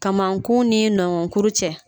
Kamnkun ni nɔnkɔnkuru cɛ